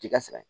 K'i ka sɛgɛn